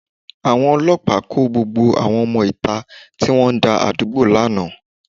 Àwọn ọlọ́pàá kó gbogbo àwọn ọmọ ìta tí wọ́n ń dá àdúgbò lánàá.